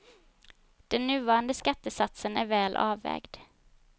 Den nuvarande skattesatsen är väl avvägd.